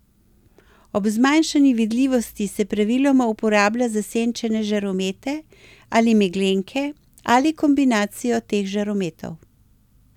Ob zmanjšani vidljivosti se praviloma uporablja zasenčene žaromete ali meglenke ali kombinacijo teh žarometov.